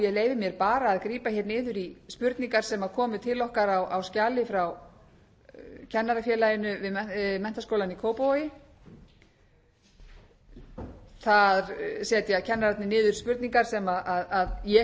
mér bara að grípa hér niður í spurningar sem komu til okkar á skjali frá kennarafélaginu við menntaskólann í kópavogi þar setja kennararnir niður spurningar sem ég hef